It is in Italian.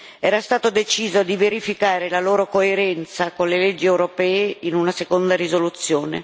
Era stato deciso di verificare la loro coerenza con le leggi europee in una seconda risoluzione.